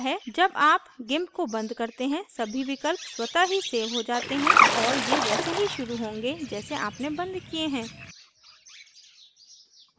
जब आप gimp को बंद करते हैं सभी विकल्प स्वतः ही सेव हो जाते हैं और ये वैसे ही शुरू होंगे जैसे आपने बंद किये हैं